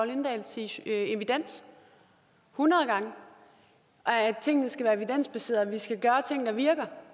lindahl sige evidens hundrede gange at tingene skal være evidensbaserede skal gøre ting der virker